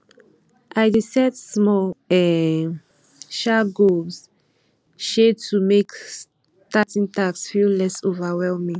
i dey set small um um goals um to make starting tasks feel less overwhelming